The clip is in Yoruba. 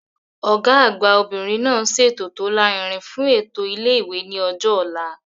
Ọ̀gá àgbà obìnrin náà ń ṣètò tó lárinrin fún ètò ilé ìwé ní ọjọ́ ọ̀la